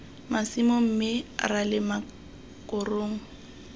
masimo mme ra lema korong